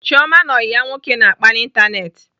Chioma na ọyị ya nwoke na-akpa n'Ịntanetị.